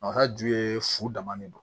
A ka ju ye fu dama de do